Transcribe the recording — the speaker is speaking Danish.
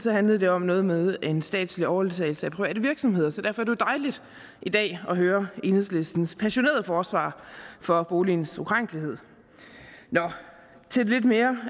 handlede det om noget med en statslig overtagelse af private virksomheder så derfor jo dejligt i dag at høre enhedslistens passionerede forsvar for boligens ukrænkelighed nu til det lidt mere